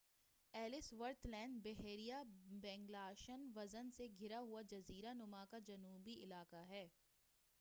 else worth land بحیرہ Bellingshausen سے گھرا ہوا جزیرہ نما کا جنوبی علاقہ ہے